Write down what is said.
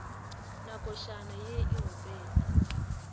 na košana ye e opelwa